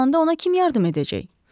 Yorulanda ona kim yardım edəcək?